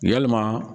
Yalima